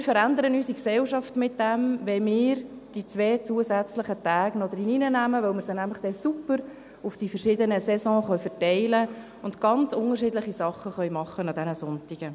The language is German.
Wir verändern damit unsere Gesellschaft, wenn wir diese beiden zusätzlichen Tage noch ins Gesetz aufnehmen, weil wir sie dann super auf die verschiedenen Saisons verteilen können und an diesen Sonntagen ganz unterschiedliche Sachen machen können.